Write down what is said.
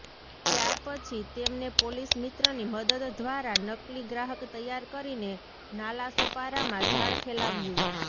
ત્યારપછી તેમને પોલીસ મિત્રની મદદ ઘ્વારા નકલી ગ્રાહક તૈયાર કરીને નાલાસોપારામાં જાળ ફેલાવ્યું